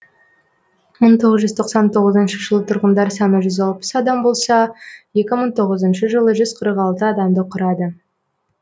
мың тоғыз жүз тоқсан тоғызыншы жылы тұрғындар саны жүз алпыс адам болса екі мың тоғызыншы жылы жүз қырық алты адамды құрады